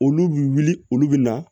Olu bi wuli olu bɛ na